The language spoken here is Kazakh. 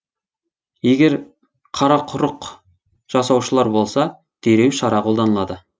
егер қарақұрық жасаушылар болса дереу шара қолданылады